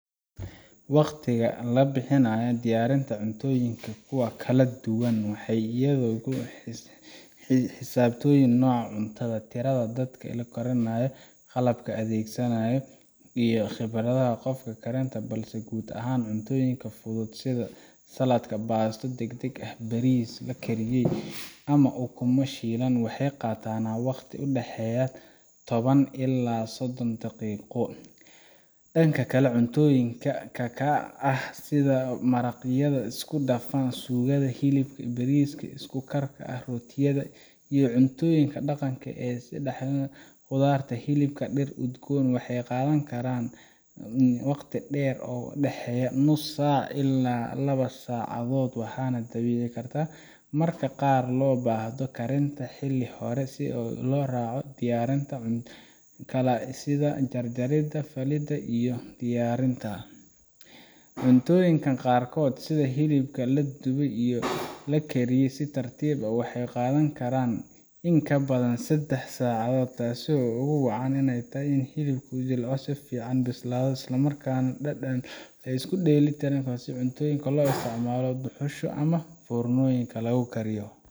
Waqtiga labixinayo diyarinta cuntoyinka kuwa kala duwan waxay ayaga xisabtoyin noca cuntada tirada dadka lokarinayo qalabka adegsanayo iyo khibarada qofka karinta balse guud ahan cuntoyinka fudud sida Saladka, Basto dagdag ah sida baris lakariyay ama ukuuma shilan waxey qatana waqti u daxeya taban ila sodan daqiqo. Danka kala cuntoyinka ah sida maraqyada iskudafan suugada, hilib baris iskukar ah rotiyada iyo cuntoyinka daqanka e sida qudarta hilibka dar udgoon waxay qadan karan waqti dher o u daxeeya nus saac ila laba sacadood waxan dabibi karta marka qar lobahdo karinta xili hore sida lo raco diyarinta kala sida kalajarida iyo diyarinta cuntoyinkan qar kood sida hilibka laduway iyo lakriyay si tartib o waxan qadan karan in kabadan sadax saacdod tas o ugu wacan inay ay tahay inu hilibka jilco o safican u bislado islamarkan dadan isku dhelitiran cuntoyinka lo isticmalo duxuusha ama furnoyinka lagu kariyo.